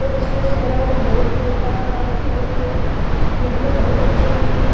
पर इसमें जनमाज बहुत कई तरह-तरह की होती है। ये हमें बहुत अच्छे लगती है।